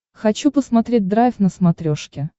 хочу посмотреть драйв на смотрешке